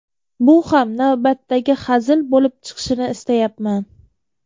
Bu ham navbatdagi hazil bo‘lib chiqishini istayapman.